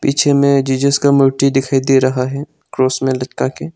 पीछे में जीसस का मूर्ति दिखाई दे रहा है क्रॉस में लटका के--